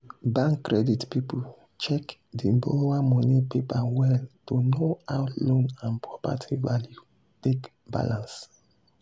sarah think am well before she gree loan her work people money to support their hustle.